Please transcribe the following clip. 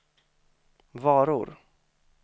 varor